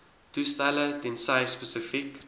toestelle tensy spesifiek